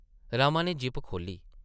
रमा नै ज़िप खोह्ल्ली ।